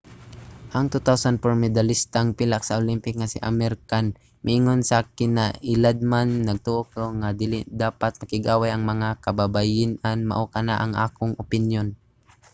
ang 2004 medalistang pilak sa olympic nga si amir khan miingon sa kinailadman nagtoo ko nga dili dapat makig-away ang mga kababayen-an. mao kana ang akong opinyon.